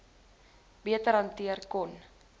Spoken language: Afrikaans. beter hanteer kon